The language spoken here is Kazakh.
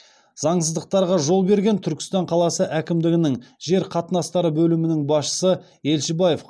заңсыздықтарға жол берген түркістан қаласы әкімдігінің жер қатынастары бөлімінің басшысы елшібаев